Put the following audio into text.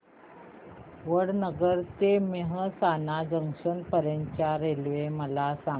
वडनगर ते मेहसाणा जंक्शन पर्यंत च्या रेल्वे मला सांगा